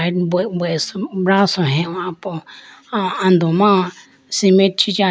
Braso hehoyi po ay do ando ma cemet chi cha.